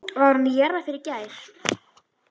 Var hún í jarðarför í gær?